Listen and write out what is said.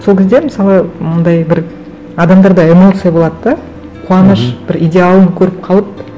сол кезде мысалы мынандай бір адамдарда эмоция болады да қуаныш бір идеалын көріп қалып